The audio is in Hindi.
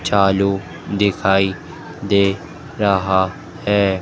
चालू दिखाई दे रहा है।